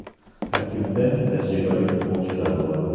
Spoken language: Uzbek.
Tarkibda tajribali futbolchilar bor.